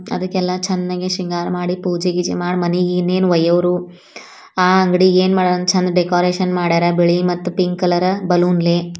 ಅದಕ್ಕೆಲ್ಲ ಚೆನ್ನಾಗಿ ಶೃಂಗಾರ ಮಾಡಿ ಪೂಜೆ ಗೀಜೆ ಮಾಡಿ ಮನೆಗೆ ಇನ್ನೇನು ವಯ್ಯೋರು ಅಂಗಡಿಗೆ ಏನು ಬೇಕು ಚೆಂದಾ ಬೇಕಾ ಡೆಕೋರೇಷನ್ ಬಿಳಿ ಮತ್ತು ಪಿಂಕ್ ಕಲರ್ ಬಲೂನು ಲೇ.